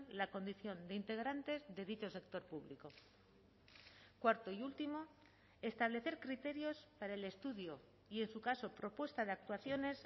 la condición de integrantes de dicho sector público cuarto y último establecer criterios para el estudio y en su caso propuesta de actuaciones